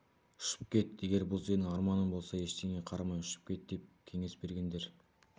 ұшып кет егер бұл сенің арманың болса ештеңеге қарамай ұшып кет деп кеңес бергендер